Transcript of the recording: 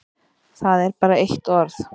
Það er bara eitt orð.